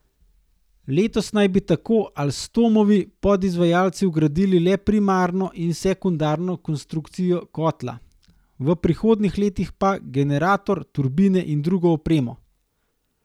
Letos naj bi tako Alstomovi podizvajalci vgradili le primarno in sekundarno konstrukcijo kotla, v prihodnjih letih pa generator, turbine in drugo opremo.